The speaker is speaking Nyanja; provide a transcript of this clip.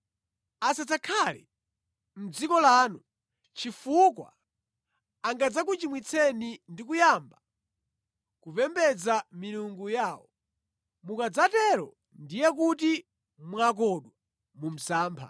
Asadzakhale mʼdziko lanu chifukwa angadzakuchimwitseni ndi kuyamba kupembedza milungu yawo. Mukadzatero ndiye kuti mwakodwa mu msampha.”